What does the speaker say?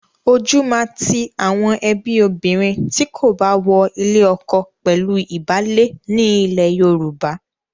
Ojú máa ti àwọn ẹbí obìnrin tí kò bá wọ ilé ọkọ pẹ̀lú ìbálé ní ilẹ̀ Yorùbá.